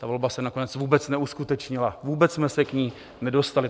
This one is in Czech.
Ta volba se nakonec vůbec neuskutečnila, vůbec jsme se k ní nedostali.